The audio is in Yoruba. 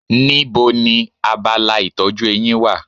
Níbo ni abala ìtọ́jú eyín wà?